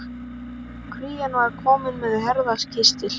Krían var komin með herðakistil.